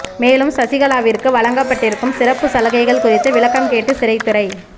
மேலும் சசிகலாவிற்கு வழங்கப்பட்டிருக்கும் சிறப்பு சலுகைகள் குறித்து விளக்கம் கேட்டு சிறைத்துறை